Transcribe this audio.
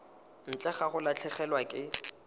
ntle ga go latlhegelwa ke